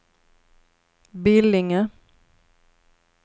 Billinge